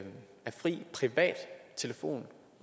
fri privat telefoni